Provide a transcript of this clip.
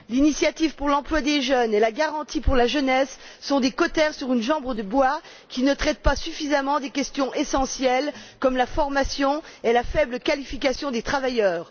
L'initiative pour l'emploi des jeunes et la garantie pour la jeunesse sont des cautères sur une jambe de bois, qui ne traitent pas suffisamment des questions essentielles comme la formation et la faible qualification des travailleurs.